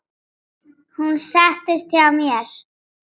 Hún settist hjá mér.